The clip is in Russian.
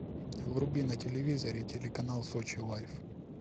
вруби на телевизоре телеканал сочи лайф